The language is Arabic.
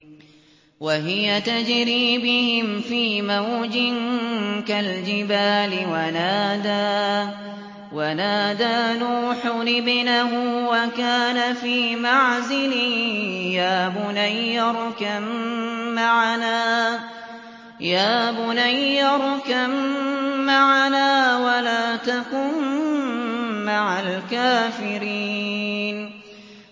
وَهِيَ تَجْرِي بِهِمْ فِي مَوْجٍ كَالْجِبَالِ وَنَادَىٰ نُوحٌ ابْنَهُ وَكَانَ فِي مَعْزِلٍ يَا بُنَيَّ ارْكَب مَّعَنَا وَلَا تَكُن مَّعَ الْكَافِرِينَ